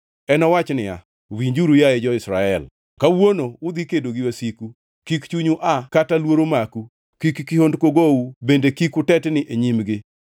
Enowach niya, “Winjuru, yaye jo-Israel kawuono udhi kedo gi wasiku, kik chunyu aa kata luoro maku, kik kihondko gou bende kik utetni e nyimgi.